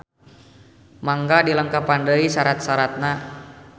Mangga dilengkepan deui sarat-saratna